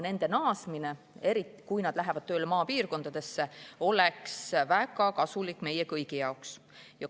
Nende naasmine, eriti kui nad läheksid tööle maapiirkondadesse, oleks väga kasulik meie kõigi jaoks.